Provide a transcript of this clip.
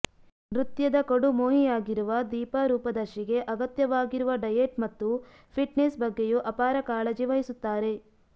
ನೃತ್ಯದ ಕಡುಮೋಹಿಯಾಗಿರುವ ದೀಪಾ ರೂಪದರ್ಶಿಗೆ ಅಗತ್ಯವಾಗಿರುವ ಡಯೆಟ್ ಮತ್ತು ಫಿಟ್ನೆಸ್ ಬಗ್ಗೆಯೂ ಅಪಾರ ಕಾಳಜಿ ವಹಿಸುತ್ತಾರೆ